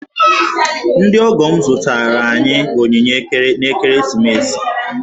Ndị ọgọ m zụtaara anyị onyinye n'ekeresimesi.